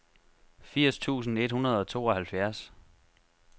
firs tusind et hundrede og tooghalvfjerds